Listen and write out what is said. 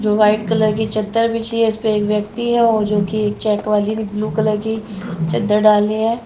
जो white colour की चदर बिछी है इसपे एक व्यक्ति है और जो कि एक चेक वाली ब्लू कलर की चदर डाली है।